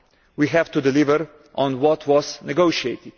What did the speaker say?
We have to deliver on what was negotiated.